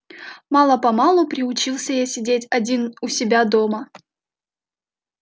мало-помалу приучился я сидеть один у себя дома